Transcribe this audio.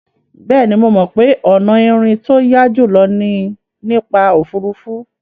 Bẹ́ẹ̀ni, mo mọ̀ pé ọ̀nà ìrìn tó yá jùlọ ni nípa òfuurufú.